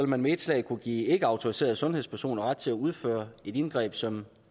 man med et slag kunne give ikkeautoriserede sundhedspersoner ret til at udføre et indgreb som